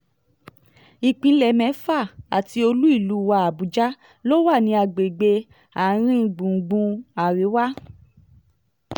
ìpínlẹ̀ mẹ́fà àti olú-ìlú wa àbújá ló wà ní agbègbè àárín-gbùngbùn àríwá